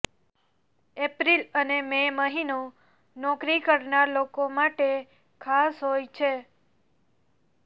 April અને May મહિનો નોકરી કરનાર લોકો માટે ખાસ હોય છે